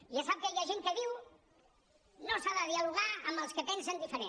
ja sap que hi ha gent que diu no s’ha de dialogar amb els que pensen diferent